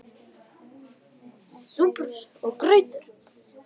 SÚPUR OG GRAUTAR